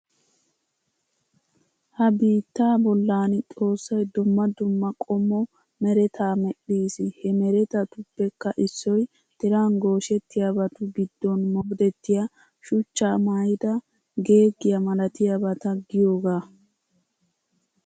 Ha biittaa bollan xoossay dumma dumma qommo meretaa medhdhiis. He meretatuppekka issoy tiran gooshettiyabatu giddon modettiya shuchcha maayida geeggiya malatiyaabata giyogaa.